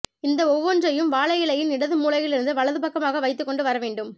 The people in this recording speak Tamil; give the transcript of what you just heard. இந்த ஒவ்வொன்றையும் வாழை இலையின் இடது மூலையிலிருந்து வலது பக்கமாக வைத்துக்கொண்டு வர வேண்டும்